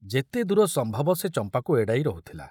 ଯେତେଦୂର ସମ୍ଭବ ସେ ଚମ୍ପାକୁ ଏଡ଼ାଇ ରହୁଥିଲା।